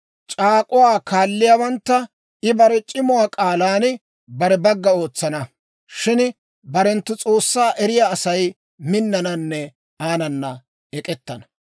C'aak'k'uwaa koliyaawantta I bare c'imuwaa k'aalan bare bagga ootsana; shin barenttu S'oossaa eriyaa Asay minnananne aanana ek'ettana.